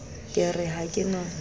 ke re ha ke no